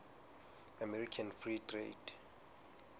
american free trade